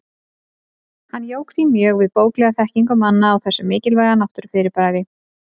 Hann jók því mjög við bóklega þekkingu manna á þessu mikilvæga náttúrufyrirbæri.